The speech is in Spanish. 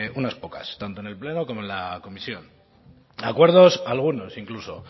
unas pocas tanto en el pleno como en la comisión acuerdos algunos incluso